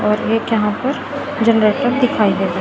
और एक यहां पर जनरेटर दिखाई दे रहा--